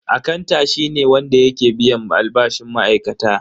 Akanta shi ne wanda yake biyan albashin ma'aikata.